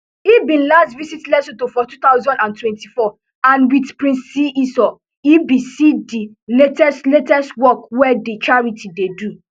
e bin last visit lesuto for two thousand and twenty-four and wit prince seeiso e bin see di latest latest work wey di charity dey do